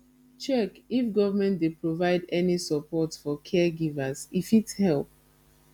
check if government dey provide any support for caregivers e fit help